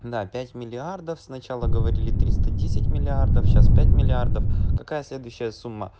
на пять миллиардов сначала говорили триста десять миллиардов сейчас пять миллиардов какая следующая сумма